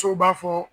Sow b'a fɔ